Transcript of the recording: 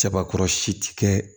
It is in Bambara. Sabakɔrɔsi ti kɛ